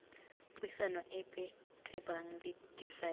puisano epe tebang le difaele